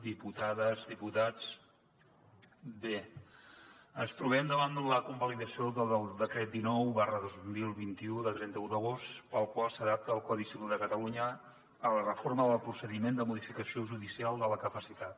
diputades diputats bé ens trobem davant de la convalidació del decret dinou dos mil vint u de trenta un d’agost pel qual s’adapta el codi civil de catalunya a la reforma del procediment de modificació judicial de la capacitat